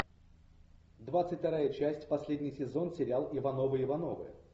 двадцать вторая часть последний сезон сериал ивановы ивановы